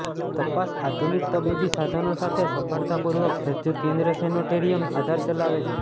તપાસ આધુનિક તબીબી સાધનો સાથે સફળતાપૂર્વક સજ્જ કેન્દ્ર સેનેટોરિયમ આધારે ચલાવે છે